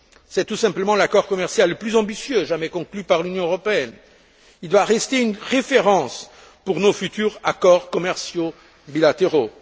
C'est tout simplement l'accord commercial le plus ambitieux jamais conclu par l'Union européenne. Il doit rester une référence pour nos futurs accords commerciaux bilatéraux.